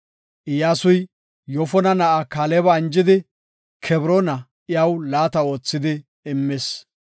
Iyyasuy Yoofona na7a Kaaleba anjidi, Kebroona iyaw laata oothi immis.